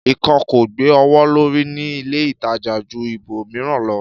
Ìkan ko gbe owo lori ni ile ìtajà ju ibo miran lọ